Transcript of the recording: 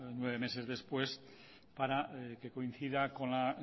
nueve meses después para que coincida con la